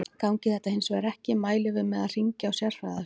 Gangi þetta hins vegar ekki mælum við með því að hringja á sérfræðiaðstoð.